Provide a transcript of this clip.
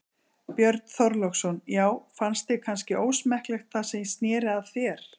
Björn Þorláksson: Já fannst þér kannski ósmekklegt það sem snéri að þér?